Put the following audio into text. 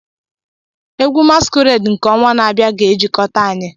Egwu masquerade nke ọnwa na-abịa ga-ejikọta anyị.